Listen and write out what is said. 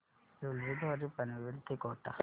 railway द्वारे पनवेल ते कोटा